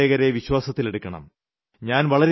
നികുതിദായകരെ വിശ്വാസത്തിലെടുക്കണം